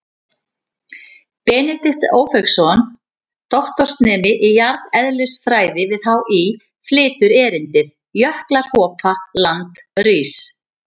Benedikt Ófeigsson, doktorsnemi í jarðeðlisfræði við HÍ, flytur erindið: Jöklar hopa, land rís.